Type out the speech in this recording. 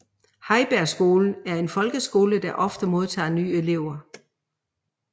Heibergskolen er en folkeskole der ofte modtager nye elever